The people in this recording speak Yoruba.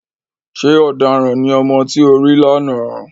Ṣé ọ̀daràn ní ọmọ tí o rí lánàá?